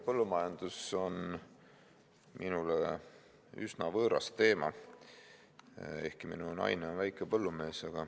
Põllumajandus on minule üsna võõras teema, ehkki mu naine on väikepõllumees.